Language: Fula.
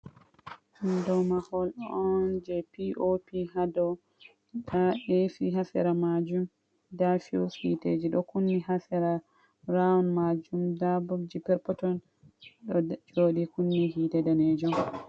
Ɗum ɗow mahol on je piop ha ɗow. Nɗa esi ha sera majum. Nɗa fiu's hiteji ɗo kunni ha sera raaun majum. Nɗa ɓoɓji perpeton ɗo ɗauɗi kunni hite nɗanejum.